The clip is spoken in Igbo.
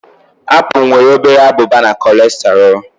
Apple nwere obere abụba na cholesterol